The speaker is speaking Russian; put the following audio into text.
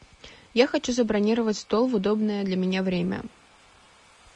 я хочу забронировать стол в удобное для меня время